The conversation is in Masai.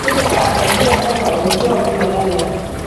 tipika egira mpaka ometua oltwala lai